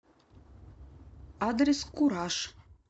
адрес кураж